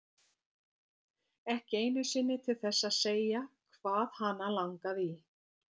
Ekki einu sinni til þess að segja hvað hana langaði í.